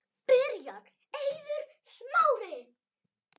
Byrjar Eiður Smári?